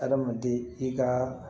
Adamaden i ka